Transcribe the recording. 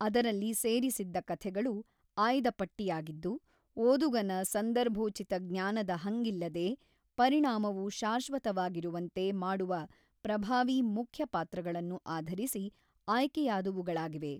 ಅದರಲ್ಲಿ ಸೇರಿಸಿದ್ದ ಕಥೆಗಳು ಆಯ್ದ ಪಟ್ಟಿಯಾಗಿದ್ದು, ಓದುಗನ ಸಂದರ್ಭೋಚಿತ ಜ್ಞಾನದ ಹಂಗಿಲ್ಲದೇ, ಪರಿಣಾಮವು ಶಾಶ್ವತವಾಗಿರುವಂತೆ ಮಾಡುವ ಪ್ರಭಾವೀ ಮುಖ್ಯ ಪಾತ್ರಗಳನ್ನು ಆಧರಿಸಿ ಆಯ್ಕೆಯಾದವುಗಳಾಗಿವೆ.